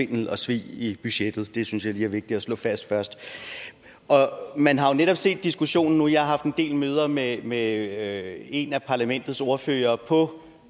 af svindel og svig i budgettet det synes jeg lige er vigtigt at slå fast først man har jo netop set diskussionen nu og jeg har haft en del møder med med en af parlamentets ordførere på